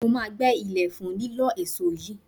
Mo máa gbẹ́ ilẹ̀ fún lílọ́ èso yìí